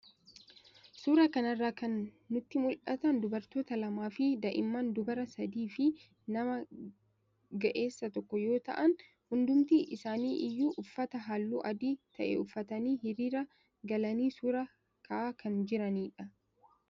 Suuraa kana irraa kan nutti mul'atan dubartoota lamaa fi daa'imman dubaraa sadii fi nama ga'eessa tokko yoo ta'an, hundumti isaanii iyyuu uffata halluu adii ta'e uffatanii hiriira galanii suuraa ka'aa kan jiranidha.